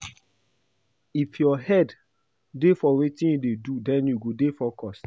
If your head dey for wetin you dey do den you go dey focused